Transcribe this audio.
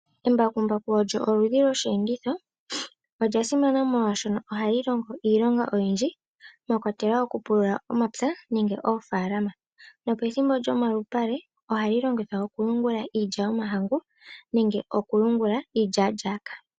Embakumbaku olyo oludhi lyosheenditho . Olya simana molwaashono ohali longo iilonga oyindji mwakwatelwa okupulula omapya nenge oofaalama. Nopethimbo lyomalupale ohali longithwa okuyungula iilya yomahangu nenge iilyaalyaaka.